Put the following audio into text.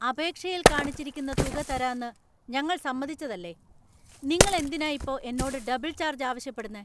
അപേക്ഷയിൽ കാണിച്ചിരിക്കുന്ന തുക തരാന്ന് ഞങ്ങൾ സമ്മതിച്ചതല്ലെ . നിങ്ങൾ എന്തിനാ ഇപ്പോ എന്നോട് ഡബിൾ ചാർജ് ആവശ്യപ്പെടുന്നേ ?